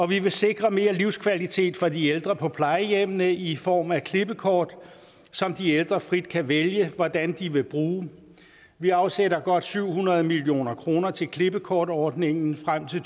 vi vil sikre mere livskvalitet for de ældre på plejehjemmene i form af klippekort som de ældre frit kan vælge hvordan de vil bruge vi afsætter godt syv hundrede million kroner til klippekortordningen frem til